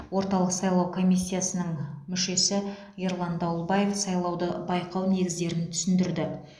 орталық сайлау комиссиясының мүшесі ерлан дауылбаев сайлауды байқау негіздерін түсіндірді